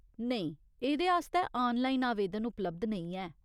नेईं, एह्दे आस्तै आनलाइन आवेदन उपलब्ध नेईं ऐ।